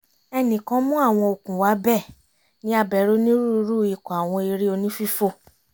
ẹnìkan mú àwọn okùn wá bẹ́ẹ̀ ni a bẹ̀rẹ̀ onírúurú ikọ̀ àwọn eré oní-fífò